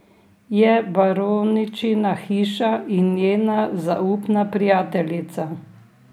Je baroničina hišna in njena zaupna prijateljica.